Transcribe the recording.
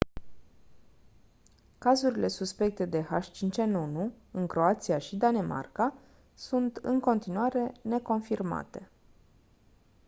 cazurile suspecte de h5n1 în croația și danemarca sunt în continuare neconfirmate